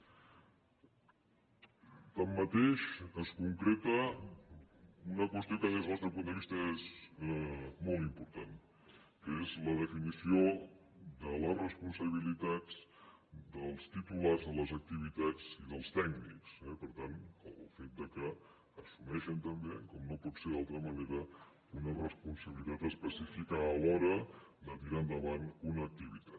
tanmateix es concreta una qüestió que des del nostre punt de vista és molt important que és la definició de les responsabilitat dels titulars de les activitats i dels tècnics eh i per tant el fet que assumeixen també com no pot ser d’altra manera una responsabilitat específica a l’hora de tirar endavant una activitat